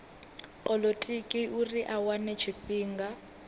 polotiki uri a wane tshifhinga